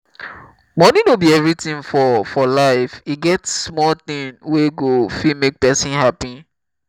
money no be everything for for life. e get small things wey go fit make person happy